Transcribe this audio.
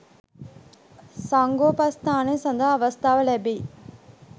සංඝෝපස්ථානය සඳහා අවස්ථාව ලැබෙයි.